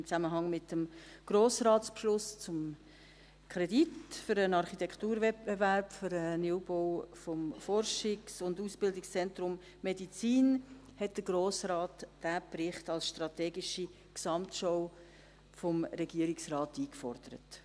Im Zusammenhang mit dem Grossratsbeschluss zum Kredit für den Architekturwettbewerb für den Neubau des Forschungs- und Ausbildungszentrums Medizin hat der Grosse Rat diesen Bericht als strategische Gesamtschau vom Regierungsrat eingefordert.